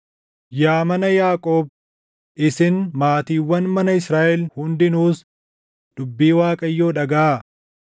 Yaa mana Yaaqoob, isin maatiiwwan mana Israaʼel hundinuus // dubbii Waaqayyoo dhagaʼaa.